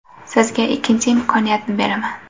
Sizga ikkinchi imkoniyatni beraman.